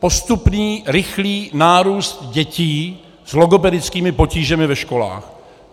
Postupný, rychlý nárůst dětí s logopedickými potížemi ve školách.